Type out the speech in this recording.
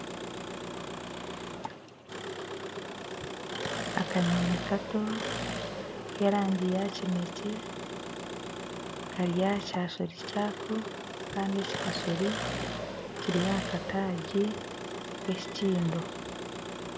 Akanyonyi Kato k'erangi ya kinekye Kari aha kyasuri kyako Kandi ekyasuri kiri aha kataagi k'ekikindo